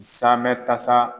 Samɛ tasa